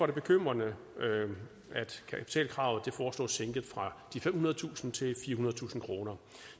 det bekymrende at kapitalkravet foreslås sænket fra de femhundredetusind kroner til firehundredetusind kroner